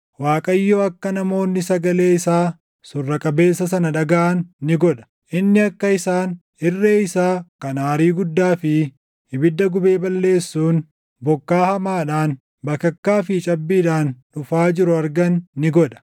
Waaqayyo akka namoonni sagalee isaa surra qabeessa sana dhagaʼan ni godha; inni akka isaan irree isaa kan aarii guddaa fi ibidda gubee balleessuun, bokkaa hamaadhaan, bakakkaa fi cabbiidhaan // dhufaa jiru argan ni godha.